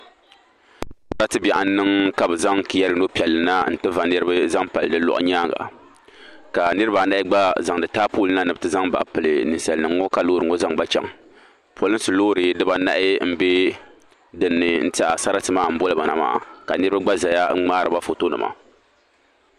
Sarati bɛɣu n niŋ ka bi zaŋ kiya rino piɛlli na n ti va niriba zaŋ pali di lɔɣu nyaanga ka niriba anahi gba zaŋ taapooli na ni bi ti zaŋ ba pili ninsali nim ŋɔ ka loori zaŋ ba chaŋ polinsi loori di baa anahi n bɛ din ni n tiɛha sarati maa n boli ba na maa ka niriba gba zaya n ŋmaari ba foto nima.